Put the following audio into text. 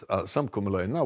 að samkomulag